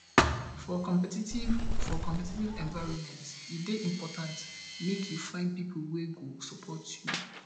for competitive for competitive environment e dey important make you find pipo wey go support you